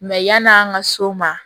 yan'an ka so ma